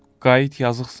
Qayıt, yazıqsan.